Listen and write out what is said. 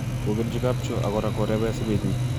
kokerji kapchoo ak kora korebe simetnyi